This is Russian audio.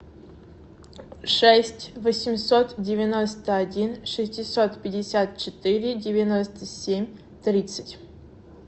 шесть восемьсот девяносто один шестьсот пятьдесят четыре девяносто семь тридцать